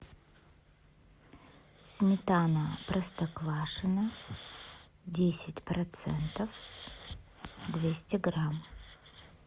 сметана простоквашино десять процентов двести грамм